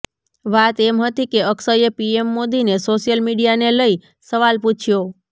વાત એમ હતી કે અક્ષયે પીએમ મોદીને સોશિયલ મીડિયાને લઇ સવાલ પૂછ્યો